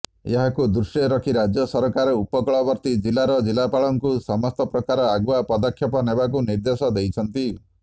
ଏହାକୁ ଦୃଷ୍ଟିରେ ରଖି ରାଜ୍ୟ ସରକାର ଉପକୂଳବର୍ତ୍ତି ଜିଲାର ଜିଲାପାଳଙ୍କୁ ସମସ୍ତପ୍ରକାର ଆଗୁଆ ପଦକ୍ଷେପ ନେବାକୁ ନିର୍ଦ୍ଦେଶ ଦେଇଛନ୍ତି